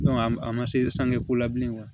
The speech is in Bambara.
an ma se sange ko la bilen